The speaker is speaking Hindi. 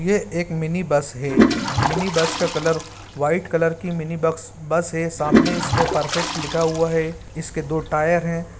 ये एक मिनी बस है मिनी बस का कलर व्हाइट कलर की मिनी बक्स बस है सामने इसके परफेक्ट लिखा हुआ है इसके दो टायर है।